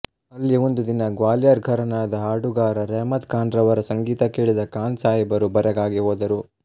ಅಲ್ಲಿ ಒಂದು ದಿನ ಗ್ವಾಲಿಯರ ಘರಾನಾದ ಹಾಡುಗಾರ ರೆಹಮತ್ ಖಾನರವರ ಸಂಗೀತ ಕೇಳಿದ ಖಾನಸಾಹೇಬರು ಬೆರಗಾಗಿ ಹೋದರು